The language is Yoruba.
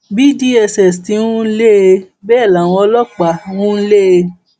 bí dss ti ń lé e bẹẹ làwọn ọlọpàá ń lé e